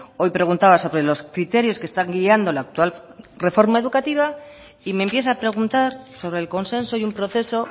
hoy preguntaba sobre los criterios que están guiando la actual reforma educativa y me empieza a preguntar sobre el consenso y un proceso